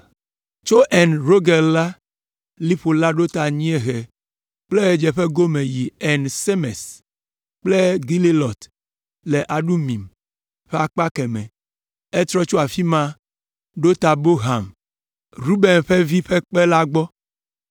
Tso En Rogel la, liƒo la ɖo ta anyiehe kple ɣedzeƒe gome yi En Semes kple Gelilot le Adumim ƒe akpa kemɛ. Etrɔ tso afi ma ɖo ta Bohan, Ruben ƒe vi ƒe kpe la gbɔ,